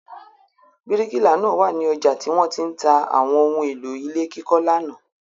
Bíríkìlà náà wà ní ọjà tí wọ́n ti ń ta àwọn ohun-èlò ilé kíkọ́ lánàá.